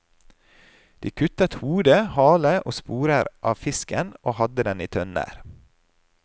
De kuttet hode, hale og sporer av fisken og hadde den i tønner.